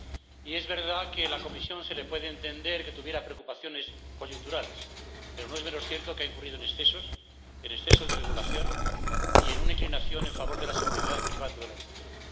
Y es verdad que se puede entender que la Comisión tuviera preocupaciones coyunturales, pero no es menos cierto que ha incurrido en excesos, en exceso de regulación y en una inclinación en favor de la seguridad, privando de la libertad.